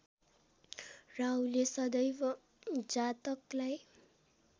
राहुले सदैव जातकलाई